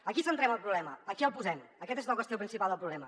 aquí centrem el problema aquí el posem aquesta és la qüestió principal del problema